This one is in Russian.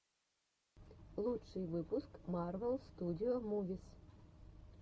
лучший выпуск марвел студио мувис